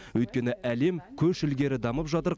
өйткені әлем көш ілгері дамып жатыр